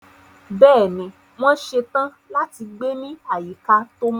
Bẹ́ẹ̀ni, wọ́n ṣe tán láti gbé ní àyíká tó mọ́.